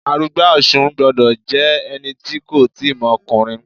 Arugba Osun gbọ́dọ̀ jẹ́ ẹni tí kò tíì mọ ọkùnrin.